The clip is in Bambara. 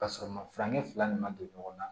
Ka sɔrɔ ma furancɛ fila nin ma don ɲɔgɔn na